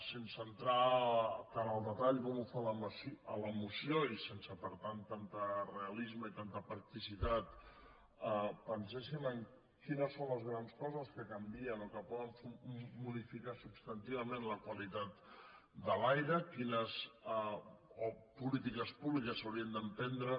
sense entrar tant al detall com ho fa a la moció i sense per tant tant de realisme i tanta practicitat penséssim en quines són les grans coses que canvien o que poden modificar substantivament la qualitat de l’aire quines polítiques públiques s’haurien d’emprendre